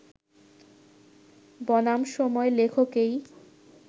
বনাম সময় লেখকেই